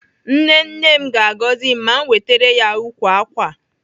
Nne nne m ga-agọzi m ma m wetere ya ukwu ákwà a.